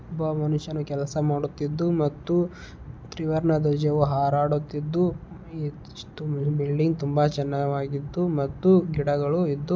ಒಬ್ಬ ಮನುಷ್ಯನು ಕೆಲಸ ಮಾಡುತ್ತಿದ್ದು ಮತ್ತು ತ್ರಿವರ್ಣ ಧ್ವಜವು ಹಾರಾಡುತ್ತಿದ್ದು ಬಿಲ್ಡಿಂಗ್ ತುಂಬಾ ಚೆನ್ನಾಗಿ ಇದ್ದು ಮತ್ತು ಗಿಡಗಳು ಇದ್ದು.